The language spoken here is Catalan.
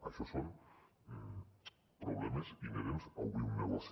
això són problemes inherents a obrir un negoci